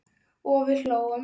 og við hlógum.